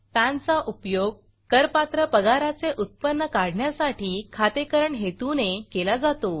pan चा उपयोग करपात्र पगाराचे उत्पन्न काढण्यासाठी खातेकरण हेतूने केला जातो